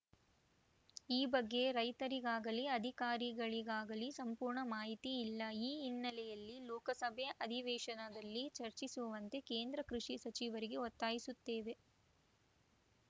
ಈ ಬಗ್ಗೆ ರೈತರಿಗಾಗಲೀ ಅಧಿಕಾರಿಗಳಿಗಾಗಲೀ ಸಂಪೂರ್ಣ ಮಾಹಿತಿ ಇಲ್ಲ ಈ ಹಿನ್ನೆಲೆಯಲ್ಲಿ ಲೋಕಸಭೆ ಅಧಿವೇಶನದಲ್ಲಿ ಚರ್ಚಿಸುವಂತೆ ಕೇಂದ್ರ ಕೃಷಿ ಸಚಿವರಿಗೆ ಒತ್ತಾಯಿಸುತ್ತೇವೆ